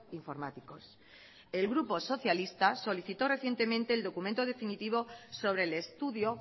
informáticos el grupo socialista solicitó recientemente el documento definitivo sobre el estudio